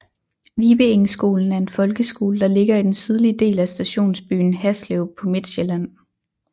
Vibeengskolen er en folkeskole der ligger i den sydlige del af stationsbyen Haslev på Midtsjælland